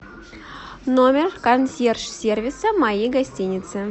номер консьерж сервиса моей гостиницы